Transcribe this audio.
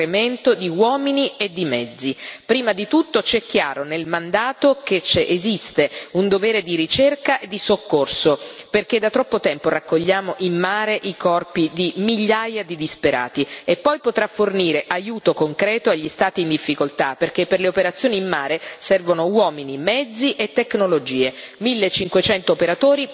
Prima di tutto ci è chiaro, nel mandato, che esiste un dovere di ricerca e di soccorso, perché da troppo tempo raccogliamo in mare i corpi di migliaia di disperati, e poi potrà fornire aiuto concreto, agli Stati in difficoltà, perché per le operazioni in mare servono uomini, mezzi e tecnologie millecinquecento operatori pronti ad intervenire. Proviamoci, facciamolo!